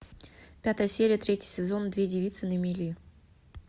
пятая серия третий сезон две девицы на мели